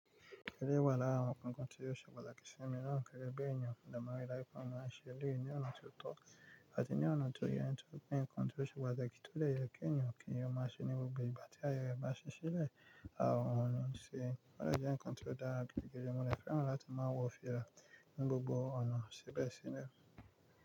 Eleyi wa lara awon nkankan tí ó ṣe pataki si mi náà gẹ́gẹ́ bí èèyàn mo de maa ri daju pe mọ́ àṣẹ eleyi ní ọ̀nà tó tọ́, àti ní ọ̀nà tó yẹ nítorí pé nǹkan tí ó ṣe padà ti ó de yẹ kí èèyàn kíyè ọmọ àṣẹ ní gbogbo ìgbà tí ayẹre bá ṣi sile. Àwọn ọ̀nà ṣe é. Ó de jẹ́ nǹkan tó dára gididigi mo de fẹ́ràn láti máa wọ fìlà ní gbogbo ọ̀nà ṣibesíbẹ̀.